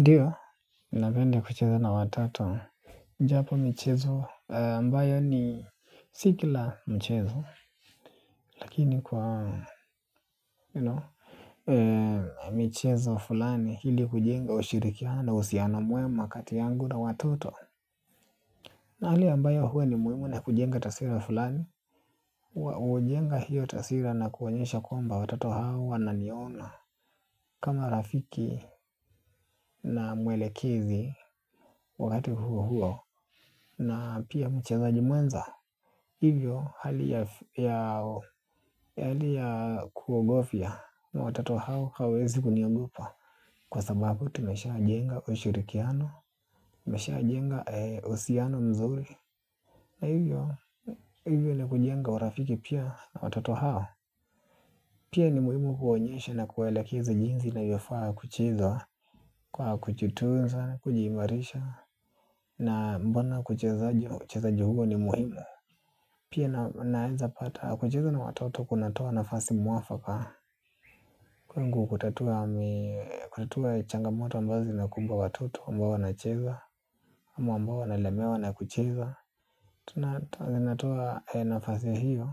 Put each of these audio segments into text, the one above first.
Ndiyo, napenda kucheza na watoto. Japo michezo ambayo ni si kila mchezo. Lakini kwa michezo fulani hili kujenga ushirikiano uhusiano mwema kati yangu na watoto. Na hali ambayo huwa ni muhimu na kujenga taswira fulani. Hujenga hiyo taswira na kuonyesha kwamba watato hao wananiona. Kama rafiki na mwelekezi wakati huo huo. Na pia mchezaji mwenza. Hivyo hali ya kuogofya. Na watoto hao hawawezi kuniogopa kwa sababu tumesha jenga ushirikiano. Tumeshajenga uhusiano mzuri. Na hivyo hivyo na kujenga urafiki pia watoto hao. Pia ni muhimu kuwaonyesha na kuwaelekeza jinsi navyofaa kucheza kwa kujitunza, kujiimarisha. Na mbona kuchezaji uchezaji huo ni muhimu. Pia naeza pata kucheza na watoto kunatoa nafasi mwafaka. Kwangu kutatua changamoto ambazo zinakumba watoto ambao wanacheza ama ambao wanalemewa na kucheza tunatoa nafasi hiyo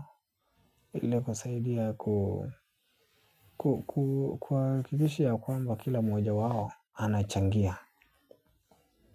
ili kusaidia kuhakikishia ya kwamba kila moja wao anachangia.